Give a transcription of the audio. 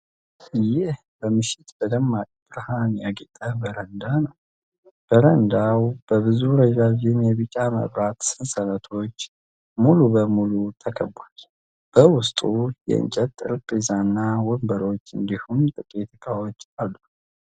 ይህ በምሽት በደማቅ ብርሃን ያጌጠ በረንዳ ነው። በረንዳው በብዙ ረዣዥም የቢጫ መብራት ሰንሰለቶች ሙሉ በሙሉ ተከቧል። በውስጥ የእንጨት ጠረጴዛና ወንበሮች እንዲሁም ጥቂት እቃዎች አሉ።